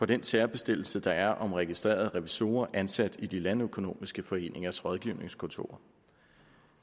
den særbestemmelse der er om registrerede revisorer ansat i de landøkonomiske foreningers rådgivningskontorer